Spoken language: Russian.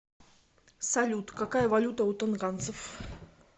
салют какая валюта у тонганцев